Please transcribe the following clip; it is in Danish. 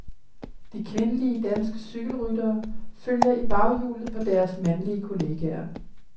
De kvindelige danske cykelryttere følger i baghjulet på deres mandlige kolleger.